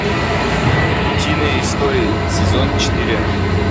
утиные истории сезон четыре